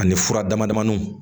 Ani fura damadamaniw